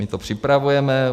My to připravujeme.